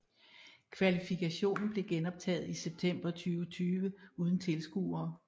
Kvalifikationen blev genoptaget i september 2020 uden tilskuere